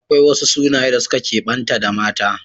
Akwai wasu sunaye da suka kebanta da mata